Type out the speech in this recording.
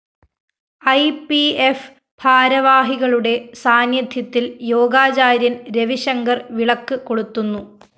E P F ഭാരവാഹികളുടെ സാന്നിധ്യത്തില്‍ യോഗാചാര്യന്‍ രവിശങ്കര്‍ വിളക്ക് കൊളുത്തുന്നു